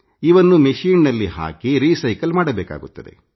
ಇವನ್ನು ಮೆಶೀನ್ನಲ್ಲಿ ಹಾಕಿ ಪುನರ್ಬಳಕೆ ಮಾಡಬೇಕಾಗುತ್ತದೆ